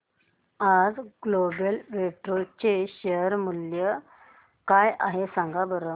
आज global Vectra चे share मूल्य काय आहे सांगा बरं